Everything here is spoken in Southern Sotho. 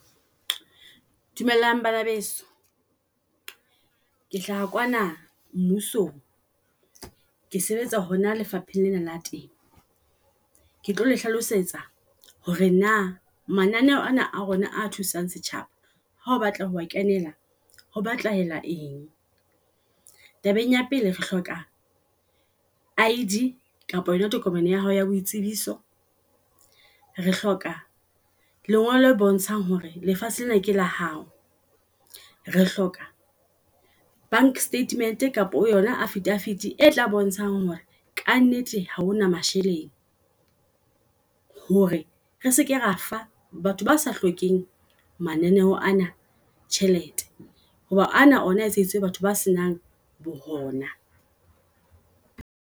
Dumelang bana beso ke hlaha kwana mmuso ng. Ke sebetsa hona lefapheng lena la teng. Ke tlo le hlalosetsa hore na mananeho ana a rona a thusang setjhaba ha o batla ho a kenela ho batlahala eng. Tabeng ya pele re hloka I_D kapo yona tokomane ya hao ya boitsebiso. Re hloka lengolo le bontshang hore lefatshe lena ke la hao, re hloka bank statement kapa yona affidavit e tla bontshang hore ka nnete haona masheleng, hore re seke ra fa batho ba sa hlokeheng mananeho ana tjhelete. Hoba ana ona etseditswe batho ba senang bo hona.